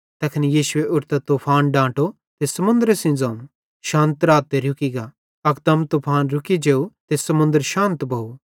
तैखन यीशुए उठतां तूफान डांटो त समुन्दरे सेइं ज़ोवं शान्त रा रुकी गा अकदम तूफान रुकी जेव त समुन्दर शान्त भोव